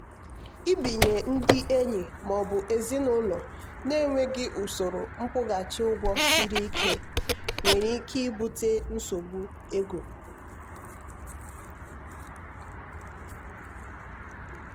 ibinye ndị enyi maọbụ ezinụlọ na-enweghị usoro nkwụghachi ụgwọ siri ike nwere ike ibute nsogbu ego.